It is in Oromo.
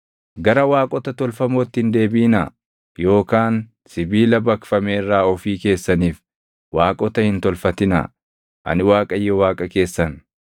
“ ‘Gara waaqota tolfamootti hin deebiʼinaa yookaan sibiila baqfame irraa ofii keessaniif waaqota hin tolfatinaa. Ani Waaqayyo Waaqa keessan.